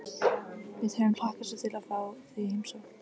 Við höfum hlakkað svo til að fá þig í heimsókn